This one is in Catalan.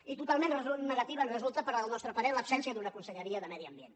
i totalment negativa ens resulta al nostre parer l’absència d’una conselleria de medi ambient